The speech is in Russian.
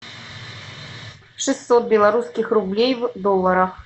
шестьсот белорусских рублей в долларах